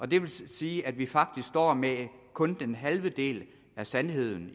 det vil sige at vi faktisk står med kun den halve del af sandheden